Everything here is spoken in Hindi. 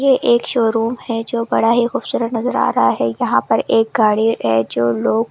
यह एक शोरूम है जो बड़ा ही खूबसूरत नज़र आ रहा है यहाँ पर एक गाड़ी है जो लोग कुछ तो --